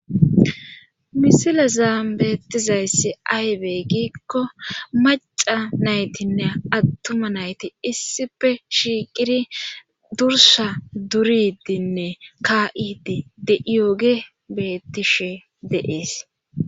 Misilezan betizaysi aybe giko maca naytine attuma nayti issippe shiqidi durussa duridine ka'iyoge betishe de'es